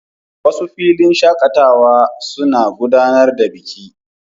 Wasu filin shakatawa suna gudanar da biki.